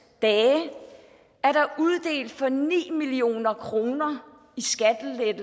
dage er der uddelt for ni million kroner